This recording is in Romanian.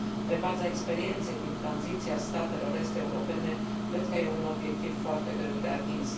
Pe baza experienței din tranziția statelor est europene, cred că e un obiectiv foarte greu de atins.